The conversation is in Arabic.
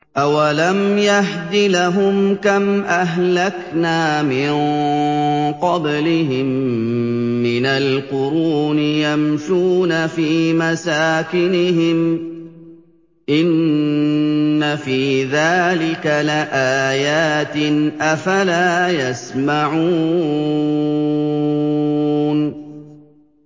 أَوَلَمْ يَهْدِ لَهُمْ كَمْ أَهْلَكْنَا مِن قَبْلِهِم مِّنَ الْقُرُونِ يَمْشُونَ فِي مَسَاكِنِهِمْ ۚ إِنَّ فِي ذَٰلِكَ لَآيَاتٍ ۖ أَفَلَا يَسْمَعُونَ